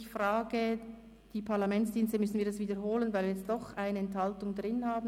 Ich frage die Parlamentsdienste, ob wir wiederholen müssen, da wir jetzt doch eine Enthaltung dabei haben.